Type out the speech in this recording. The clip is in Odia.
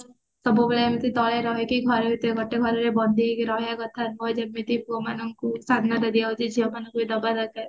ସବୁ ବେଳେ ଏମତି ତଳେ ରହିକି ଘରେ ଭିତରେ ଗୋଟେ ଘର ବନ୍ଦୀ ହେଇକି ରହିବା କଥା ନୁହଁ ଯେମିତି ପୁଅ ମାନଙ୍କୁ ସ୍ଵାଧୀନତା ଦିଆଯାଉଛି ଝିଅ ମାନଙ୍କୁ ଦବା ଦରକାର